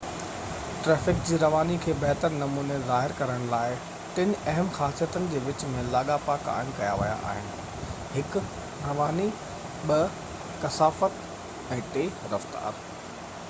traffic جي رواني کي بهتر نموني ظاهر ڪرڻ لاءِ، ٽن اهم خاصيتن جي وچ ۾ لاڳاپا قائم ڪيا ويا آهن: 1 رواني، 2 ڪثافت، ۽ 3 رفتار